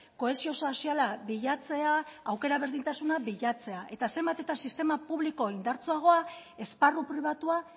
kohesio soziala bilatzea aukera berdintasuna bilatzea eta zenbat eta sistema publiko indartsuagoa esparru pribatua